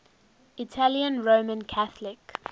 italian roman catholic